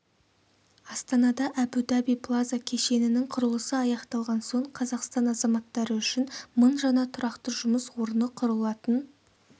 астанада әбу-даби плаза кешенінің құрылысы аяқталған соң қазақстан азаматтары үшін мың жаңа тұрақты жұмыс орны құрылатын